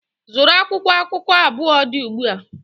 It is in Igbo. Zụrụ akwụkwọ akụkọ abụọ dị ugbu a!